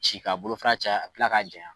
Ci ka bolofara caya ka kila k'a janya.